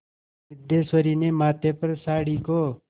सिद्धेश्वरी ने माथे पर साड़ी को